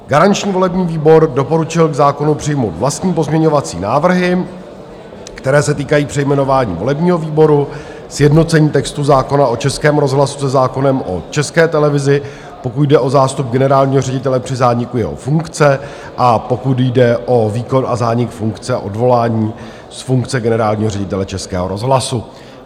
Garanční volební výbor doporučil k zákonu přijmout vlastní pozměňovací návrhy, které se týkají přejmenování volebního výboru, sjednocení textu zákona o Českém rozhlasu se zákonem o České televizi, pokud jde o zástup generálního ředitele při zániku jeho funkce a pokud jde o výkon a zánik funkce a odvolání z funkce generálního ředitele Českého rozhlasu.